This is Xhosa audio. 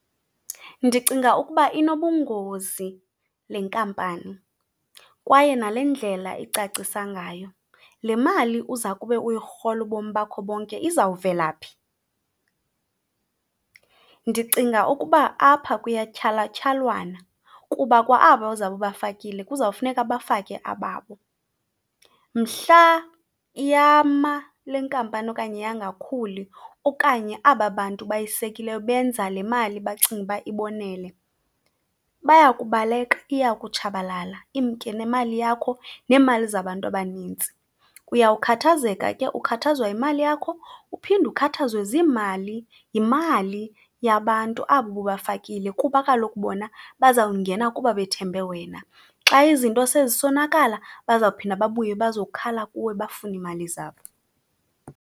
Ndicinga ukuba inobungozi le nkampani kwaye nale ndlela icacisa ngayo. Le mali uza kube uyirhola ubomi bakho bonke izawuvela phi? Ndicinga ukuba apha kuyatyhalatyhalwana kuba kwa aba uzawube ubafikile kuzawufuneka bafake ababo. Mhla yama le nkampani okanye yangakhuli okanye aba bantu bayisekileyo benza le mali bacinga uba ibonele, bayakubaleka iya kutshabalala imke nemali yakho neemali zabantu abanintsi. Uyawukhathazeka ke, ukhathazwa yimali yakho uphinde ukhathazwe ziimali yimali yabantu abo ububafakile kuba kaloku bona bazawungena kuba bethembe wena. Xa izinto sezisonakala, bazawuphinde babuye bazokhala kuwe bafune iimali zabo.